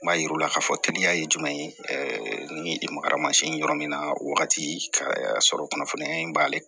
N b'a yir'u la k'a fɔ teliya ye jumɛn ye ni makari masin yɔrɔ min na wagati y'a sɔrɔ kunnafoniya in b'ale la